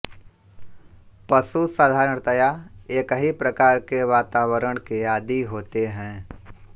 पशु साधारणतया एक ही प्रकार के वातावरण के आदी होते हैं